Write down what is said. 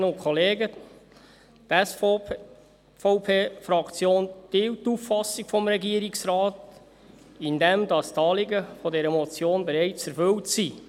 Die SVP-Fraktion teilt die Auffassung des Regierungsrates, wonach die Anliegen dieser Motion bereits erfüllt sind.